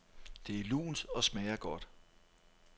Det er lunt og smager godt.